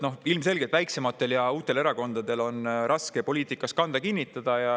Ilmselgelt on väiksematel ja uutel erakondadel raske poliitikas kanda kinnitada.